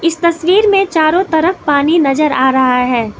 तस्वीर में चारों तरफ पानी नजर आ रहा है।